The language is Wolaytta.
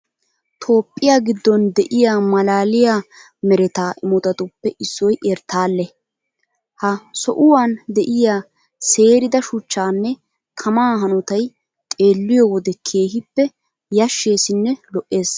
Toophphiya giddon de'iya maalaaliya mereta imotatuppe issoy erttaale. Ha souwan de'iya seerida shuchchaanne tamaa hanotay xeelliyo wode keehippe yashsheesinne lo"ees.